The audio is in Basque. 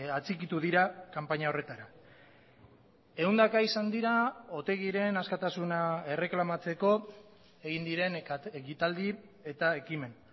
atxikitu dira kanpaina horretara ehundaka izan dira otegiren askatasuna erreklamatzeko egin diren ekitaldi eta ekimen